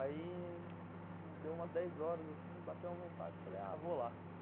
Aí, deu umas dez horas, assim, bateu a vontade e falei, vou lá.